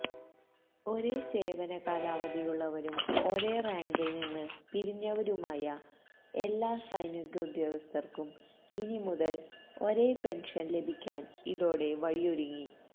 ഒരേ സേവനകാലാവധിയുള്ളവരും ഒരേ റാങ്കില്നിന്ന് പിരിഞ്ഞവരുമായ എല്ലാ സൈനികോദ്യോഗസ്ഥര്ക്കും ഇനി മുതല് ഒരേ പെന്ഷന് ലഭിക്കാന് ഇതോടെ വഴിയൊരുങ്ങി